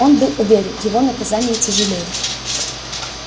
он был уверен его наказание тяжелее